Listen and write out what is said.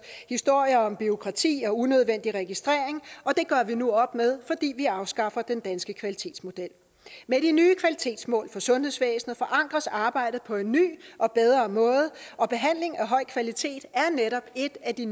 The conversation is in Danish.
historier om bureaukrati og unødvendig registrering og det gør vi nu op med fordi vi afskaffer den danske kvalitetsmodel med de nye kvalitetsmål for sundhedsvæsenet forankres arbejdet på en ny og bedre måde og behandling af høj kvalitet er netop et af de